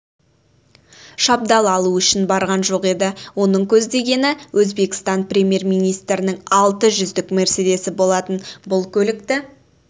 шабдалы алу үшін барған жоқ еді оның көздегені өзбекстан премьер-министрінің алтыжүздік мерседесі болатын бұл көлікті